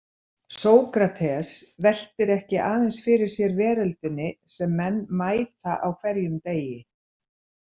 Sókrates veltir ekki aðeins fyrir sér veröldinni sem menn mæta á hverjum degi.